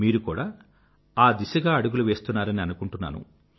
మీరు కూడా ఆ దిశగా అడుగులు వేస్తున్నారని అనుకుంటున్నాను